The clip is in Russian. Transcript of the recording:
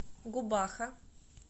губаха